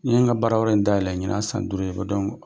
N ye n ka baarayɔrɔ in daɛlɛn ɲina y'a san duuru ye